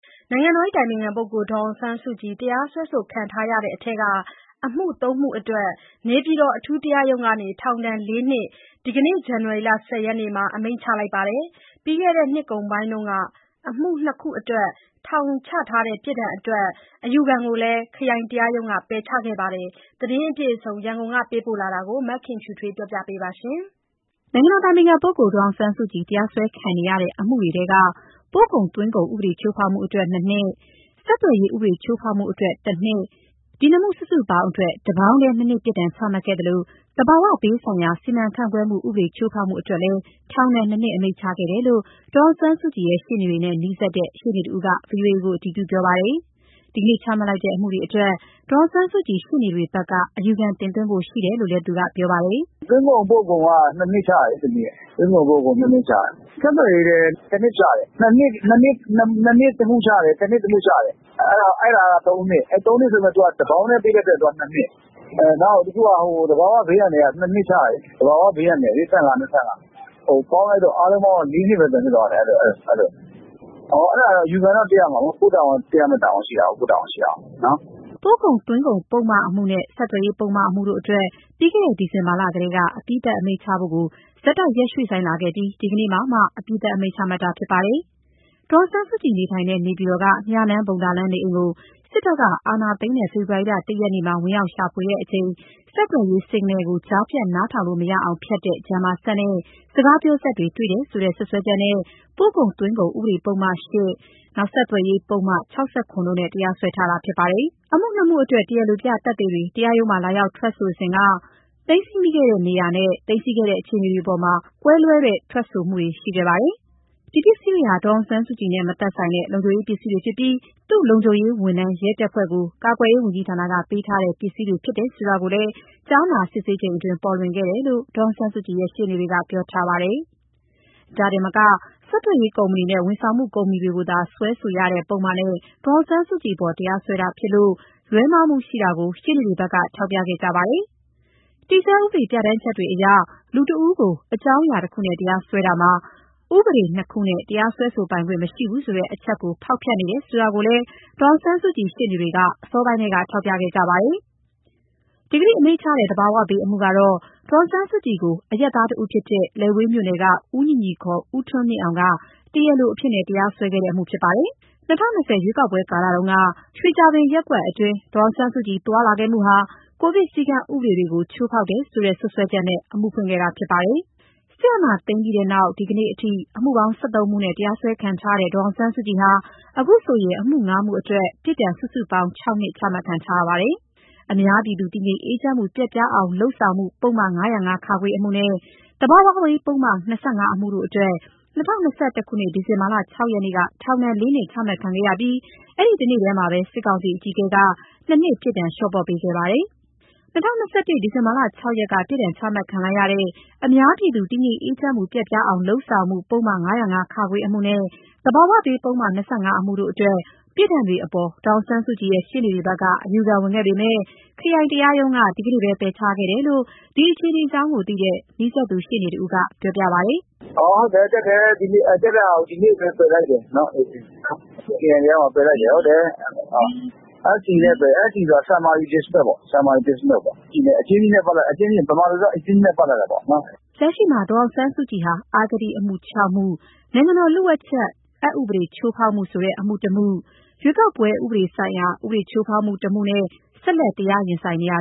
နိုင်ငံတော်အတိုင်ပင်ခံပုဂ္ဂိုလ် ဒေါ်အောင်ဆန်းစုကြည် တရားစွဲခံနေရတဲ့ထဲက အမှု ၃ မှု အတွက် နေပြည်တော် အထူးတရားရုံးက ထောင်ဒဏ် ၄ နှစ် ဒီနေ့ ဇန်နဝါရီလ ၁၀ ရက်မှာ အမိန့်ချလိုက်ပါတယ်။ ပြီးခဲ့တဲ့နှစ်ကုန်ပိုင်းက အမှု ၂ ခုအတွက် ထောင်ချထားတဲ့ ပြစ်ဒဏ်တွေအတွက် အယူခံကိုတော့ ခရိုင်တရားရုံးက ပယ်ချခဲ့ပါတယ်။ ဒီသတင်းအပြည့်အစုံ ရန်ကုန်ကပေးပို့လာတာကို မခင်ဖြူထွေးက တင်ပြပေးထားပါတယ်။ ဒေါ်အောင်ဆန်းစုကြည် တရားစွဲခံနေရတဲ့ အမှုတွေထဲက ပို့ကုန် သွင်းကုန်ဥပဒေ ချိုးဖောက်မှုအတွက် ၂ နှစ်၊ ဆက်သွယ်ရေး ဥပဒေချိုးဖောက်မှုအတွက် ၁ နှစ်တို့ကို တပေါင်းတည်း ၂ နှစ်ပြစ်ဒဏ် ချမှတ်ခဲ့သလို သဘာဝဘေးဆိုင်ရာ စီမံခန့်ခွဲမှုဥပဒေချိုးဖောက် မှုအတွက်လည်း ထောင်ဒဏ် ၂ နှစ် အမိန့်ချခဲ့တယ်လို့ ဒေါ်အောင်ဆန်းစုကြည်ရဲ့ ရှေ့နေတွေနဲ့ နီးစပ်တဲ့ရှေ့နေတဦးက ဗွီအိုအေကို အတည်ပြုပါတယ်။ ဒီကနေ့ချမှတ် လိုက်တဲ့ အမှုတွေအတွက် ဒေါ်အောင်ဆန်းစုကြည်ရှေ့နေတွေဘက်က အယူခံတင် သွားဖို့ရှိတယ်လို့ သူကပြောပါတယ်။ “ဟုတ်တယ် ဒီနေ့ချလိုက်တယ်။ သွင်းကုန်ပို့ကုန်က ၂ နှစ်ချတယ်။ ဆက်သွယ်ရေးလည်း ၁ နှစ်ချတယ်။ ၂ နှစ် တမှုချတယ်၊ တနှစ် တမှုချတယ်။ အဲဒါက ၃ နှစ်။ တပေါင်တည်းပေးတဲ့အတွက် ၂ နှစ်ဖြစ်တယ်။ နောက်တခုက သဘာဝဘေးအန္တရာယ်က ၂ နှစ်ချတယ်။ သဘာဝဘေး အန္တရာယ်လေ ၂၅၊ ၂၅။ ပေါင်းလိုက်တော့ အားလုံးပေါင်းက ၄ နှစ်ပဲ ဖြစ်သွားတယ်။ အယူခံကတော့ တက်ရမှာပေါ့။ ကိုယ့်တာဝန်ရှိတာကို။” ပို့ကုန်သွင်းကုန် ပုဒ်မအမှုနဲ့ဆက်သွယ်ရေးပုဒ်မအမှုတို့အတွက် ပြီးခဲ့တဲ့ ဒီဇင်ဘာလကတည်းက အပြီးသတ်အမိန့်ချဖို့ကို ဆက်တိုက်ရွှေ့ဆိုင်းလာခဲ့ပြီး ဒီကနေ့မှာမှ အပြီးသတ် အမိန့်ချမှတ်ခဲ့တာဖြစ်ပါတယ်။ ဒေါ်အောင်ဆန်းစုကြည်နေထိုင်တဲ့ နေပြည်တော်က မြနန်းဘုံသာလမ်းနေအိမ်ကို စစ်တပ်က အာဏာသိမ်းတဲ့ ဖေဖော်ဝါရီ ၁ ရက်မှာ ဝင်ရောက်ရှာဖွေစဉ် ဆက်သွယ်ရေး Signal ကိုကြားဖြတ်နားထောင်လို့ မရအောင် ဖျက်တဲ့ Jammer စက်နဲ့စကားပြောစက်တွေ တွေ့တယ်ဆိုတဲ့စွပ်စွဲချက်နဲ့ ပို့ကုန်သွင်းကုန်ဥပဒေပုဒ်မ ၈၊ ဆက်သွယ်ရေး ပုဒ်မ ၆၇ တိုနဲ့ တရားစွဲခဲ့တာဖြစ်ပါတယ်။ အမှု ၂ မှုအတွက် တရားလိုပြသက်သေတွေ တရားရုံးမှာလာရောက်ထွက်ဆိုစဉ်က သိမ်းဆည်းမိတဲ့ နေရာနဲ့ သိမ်းဆည်းခဲ့တဲ့ အခြေအနေအတွေအပေါ်မှာ ကွဲလွဲစွာ ထွက်ဆိုမှုတွေရှိခဲ့ပါတယ်။ ဒီပစ္စည်းတွေဟာ ဒေါ်အောင် ဆန်းစုကြည်နဲ့ မသက်ဆိုင်ဘဲ လုံခြုံရေးသုံး ပစ္စည်းတွေဖြစ်ပြီး သူ့လုံခြုံရေးဝန်ထမ်း ရဲတပ်ဖွဲ့ကို ကာကွယ်ရေးဝန်ကြီးဌာနက ပေးထားတဲ့ ပစ္စည်းတွေဖြစ်တယ်ဆိုတာကိုလည်း ကြားနာစစ်ဆေးစဉ်အတွင်း ပေါ်လွင်ခဲ့တယ်လို့ ဒေါ်အောင်ဆန်းစုကြည်ရဲ့ ရှေ့နေတွေက ပြောထားပါတယ်။ ဒါတင်မက ဆက်သွယ်ရေးကုမ္ပဏီနဲ့ ဝန်ဆောင်မှုကုမ္ပဏီတွေကိုသာ စွဲဆိုရတဲ့ပုဒ်မနဲ့ ဒေါ်အောင်ဆန်းစုကြည် အပေါ် တရားစွဲတာဖြစ်လို့ လွဲမှားမှုရှိတာကို ရှေ့နေတွေဘက်က ထောက်ပြခဲ့ကြပါတယ်။ တည်ဆဲဥပဒေပြဌာန်း ချက် တွေအရ လူတဦးကို အကြောင်းအရာတခုနဲ့ တရားစွဲဆိုတာမှာ ဥပဒေ ၂ ခုနဲ့ တရားစွဲဆိုပိုင်ခွင့်မရှိဘူးဆိုတဲ့ အချက်ကို ဖောက်ဖျက်နေတယ်ဆိုတာကိုလည်း ဒေါ်အောင်ဆန်းစုကြည်ရှေ့နေတွေ အစောပိုင်းထဲက ထောက်ပြခဲ့ကြတာပါ။ ဒီနေ့အမိန့်ချတဲ့ သဘာဝဘေးအမှုကတော့ ဒေါ်အောင်ဆန်းစုကြည်ကို အရပ်သားတဦးဖြစ်တဲ့ လယ်ဝေးမြို့နယ်က ဦးညီညီ (ခ) ဦးထွန်းမြင့်အောင်က တရားလိုအဖြစ်နဲ့ တရားစွဲခဲ့တဲ့အမှုဖြစ်ပါတယ်။ ၂၀၂၀ ရွေးကောက်ပွဲကာလတုန်းက ရွှေကြာပင်ရပ်ကွက် အတွင်း ဒေါ်အောင်ဆန်းစုကြည်သွားလာခဲ့မှုဟာ ကိုဗစ်စည်းကမ်းဥပဒေတွေကို ချိုးဖောက်တယ်ဆိုတဲ့စွပ်စွဲချက်နဲ့ အမှုဖွင့်ခဲ့တာဖြစ်ပါတယ်။ စစ်အာဏာသိမ်းပြီးနောက် ဒီနေ့အထိ အမှုပေါင်း ၁၃ မှုနဲ့ တရားစွဲခံရတဲ့ ဒေါ်အောင်ဆန်း စုကြည်ဟာ အခုဆိုရင် အမှု ၅ မှုအတွက် ပြစ်ဒဏ် စုစုပေါင်း ၆ နှစ် ချမှတ်ခံထားရပါတယ်။ အများပြည်သူ တည်ငြိမ်အေးချမ်းမှု ပျက်ပြားအောင် လုပ်ဆောင်မှု ပုဒ် မ ၅၀၅-ခ အမှုနဲ့ သဘာဝဘေးပုဒ်မ ၂၅ အမှုတို့အတွက် ၂၀၂၁ ဒီဇင်ဘာလ ၆ ရက်က ထောင် ဒဏ် ၄ နှစ်ချခံခဲ့ရပြီး တနေ့တည်းမှာ စစ်ကောင်စီအကြီးအကဲက ၂ နှစ် ပြစ်ဒဏ်လျော့ ပေါ့ပေးခဲ့ပါတယ်။ ၂၀၂၁ ဒီဇင်ဘာလ ၆ ရက်က ပြစ်ဒဏ်ချမှတ်ခံလိုက်ရတဲ့ အများပြည်သူ တည်ငြိမ်အေးချမ်းမှု ပျက်ပြားအောင် လုပ်ဆောင်မှု ပုဒ် မ ၅၀၅-ခ အမှုနဲ့ သဘာဝဘေးပုဒ်မ ၂၅ အမှုတို့အတွက် ပြစ်ဒဏ်တွေအပေါ် ဒေါ်အောင်ဆန်းစုကြည်ရှေ့နေတွေဘက်က အယူခံဝင်ခဲ့ပေမဲ့ ခရိုင်တရားရုံးက ဒီနေ့ပဲ ပယ်ချခံရတယ်လို့ ဒီအခြေအနေအကြောင်းသိရှိတဲ့ နီးစပ်သူရှေ့နေတဦးက ခုလိုပြောပြပါတယ်။ “တက်တာကို ဒီနေ့ပဲ ပယ်ချလိုက်တယ်။ ခရိုင်တရားရုံးကပယ်လိုက်တယ်။ SD နဲ့ ပယ်တယ်။ stand dismiss ပေါ့။ အကျဉ်းနည်းနဲ့ ပလပ်တယ်လို့ပြောရမယ်။ ဗမာလိုတော့ အကျဉ်းနည်းနဲ့ ပလပ်လိုက်တာပေါ့နော်။” လက်ရှိမှာဒေါ်အောင်ဆန်းစုကြည်ဟာ အဂတိအမှု ၆ မှု၊ အစိုးရလျို့ဝှက်ချက် ဥပဒေချိုးဖောက်တယ်ဆိုတဲ့ အမှု ၁ မှု၊ ရွေးကောက်ပွဲဥပဒေဆိုင်ရာဥပဒေချိုးဖောက်မှု ၁ မှုတို့နဲ့ ဆက်လက် တရားရင်ဆိုင်နေရ